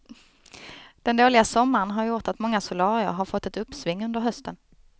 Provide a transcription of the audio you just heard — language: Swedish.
Den dåliga sommaren har gjort att många solarier har fått ett uppsving under hösten.